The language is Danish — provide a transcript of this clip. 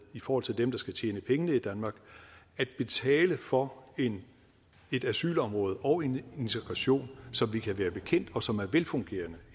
i forhold til dem der skal tjene pengene i danmark at betale for et asylområde og en integration i som vi kan være bekendt og som er velfungerende